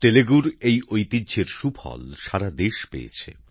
তেলুগুর এই ঐতিহ্যের সুফল সারা দেশ পেয়েছে